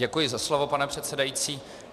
Děkuji za slovo, pane předsedající.